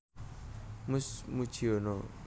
Mus Mujiono